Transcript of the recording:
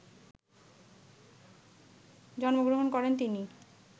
জন্মগ্রহণ করেন তিনি